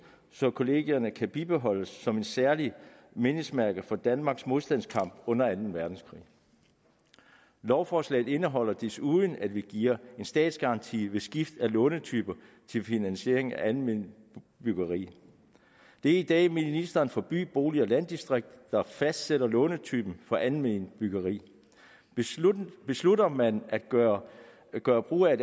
så kollegierne kan bibeholdes som et særligt mindesmærke for danmarks modstandskamp under anden verdenskrig lovforslaget indeholder desuden at vi giver en statsgaranti ved skift af lånetype til finansiering af alment byggeri det er i dag ministeren for by bolig og landdistrikter der fastsætter lånetypen for alment byggeri beslutter beslutter man at gøre gøre brug af